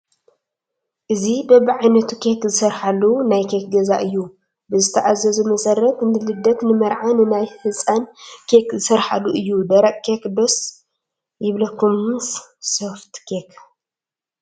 እዚ በብዓይነቱ ኬክ ዝስረሓሉ ናይ ኬክ ገዛ እዩ፡፡ ብዝተኣዘዞ መሰረት ንልደት፣ ንመርዓን ንናይ ሕፀን ኬክ ዝስራሓሉ እዩ፡፡ ደረቕ ኬክ ዶ ደስ ይብለኩምስ ሶፍት ኬክ?